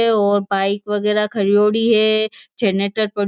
और बाइक वगेरा खरयोड़ी है जनरेटर --